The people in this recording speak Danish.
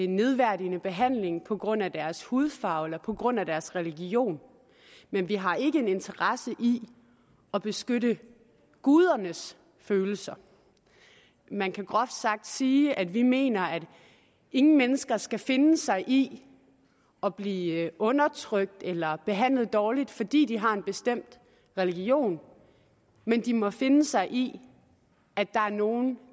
nedværdigende behandling på grund af deres hudfarve eller på grund af deres religion men vi har ikke en interesse i at beskytte gudernes følelser man kan groft sagt sige at vi mener at ingen mennesker skal finde sig i at blive undertrykt eller behandlet dårligt fordi de har en bestemt religion men de må finde sig i at der er nogle